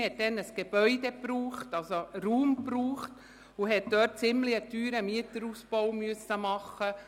Man benötigte Raum und musste einen ziemlich teuren Mieterausbau machen.